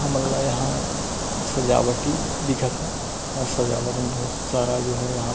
हमन ला यहाँ सजावटी दिखत हे और सजावट में बहुत सारा जो हे यहाँ --